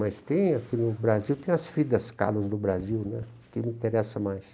Mas tem aqui no Brasil, tem as Fridas Kahlo do Brasil né, que me interessa mais.